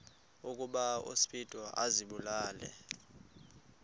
ukuba uspido azibulale